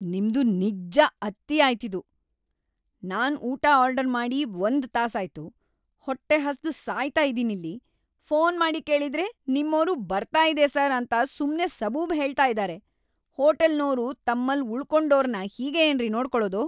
ನಿಮ್ದು ನಿಜ್ಜ ಅತಿಯಾಯ್ತಿದು. ನಾನ್‌ ಊಟ ಆರ್ಡರ್‌ ಮಾಡಿ ಒಂದ್ ತಾಸಾಯ್ತು, ಹೊಟ್ಟೆ ಹಸ್ದು ಸಾಯ್ತಾ ಇದೀನಿಲ್ಲಿ, ಪೋನ್‌ ಮಾಡಿ ಕೇಳಿದ್ರೆ ನಿಮ್ಮೋರು ಬರ್ತಾ ಇದೆ ಸರ್‌ ಅಂತ ಸುಮ್ನೇ ಸಬೂಬ್ ಹೇಳ್ತಾ ಇದಾರೆ. ಹೋಟೆಲ್‌ನೋರು ತಮ್ಮಲ್ಲ್‌ ಉಳ್ಕೊಂಡೋರ್ನ ಹೀಗೇ ಏನ್ರಿ ನೋಡ್ಕೊಳೋದು?!